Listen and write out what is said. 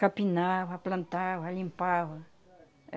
Capinava, plantava, limpava.